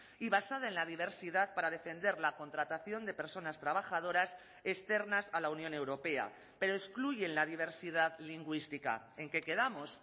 y basada en la diversidad para defender la contratación de personas trabajadoras externas a la unión europea pero excluyen la diversidad lingüística en qué quedamos